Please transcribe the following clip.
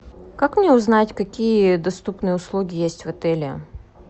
как мне узнать какие доступные услуги есть в отеле